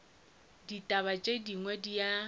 dibata tše dingwe di a